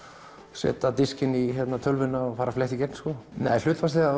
setja diskinn í tölvuna og fletta í gegn hlutfallslega